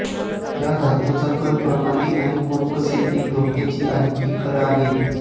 या धातूचा कण प्रणाली आणि पंप सील एक धोक्याची आहेत की खरं आहे